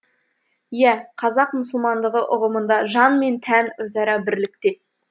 иә қазақ мұсылмандығы ұғымында жан мен тән өзара бірлікте